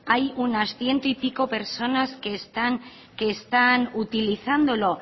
hay unas ciento y pico personas que están utilizándolo